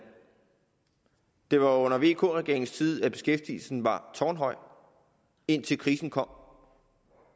det var under vk regeringen at beskæftigelsen var tårnhøj indtil krisen kom